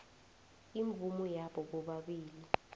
imvumo yabo bobabili